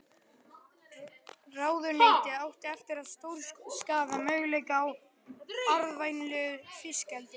Ráðuneytið átti eftir að stórskaða möguleika á arðvænlegu fiskeldi.